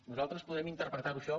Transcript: nosaltres podrem interpretar·ho això